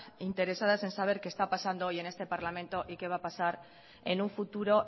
interesadas en saber qué está pasando hoy en este parlamento y qué va a pasar en un futuro